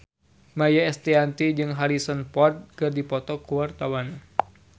Maia Estianty jeung Harrison Ford keur dipoto ku wartawan